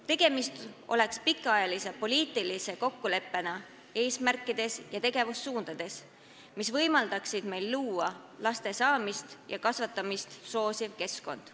Tegemist oleks pikaajalise poliitilise kokkuleppega, et määrata kindlaks eesmärgid ja tegevussuunad, mis võimaldaksid luua laste saamist ja kasvatamist soosiv keskkond.